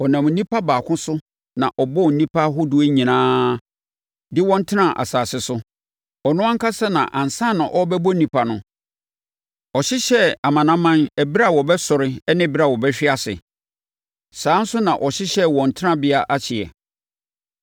Ɔnam onipa baako so na ɔbɔɔ nnipa ahodoɔ nyinaa de wɔn tenaa asase so. Ɔno ankasa na ansa na ɔrebɛbɔ nnipa no, ɔhyehyɛɛ amanaman ɛberɛ a wɔbɛsɔre ne ɛberɛ a wɔbɛhwe ase. Saa ara nso na ɔhyehyɛɛ wɔn tenabea ahyeɛ.